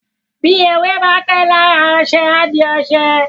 bi ewé bá pé lára oṣe a dì oṣe